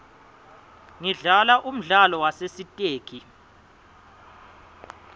ngidlala umdlalo wasesitegi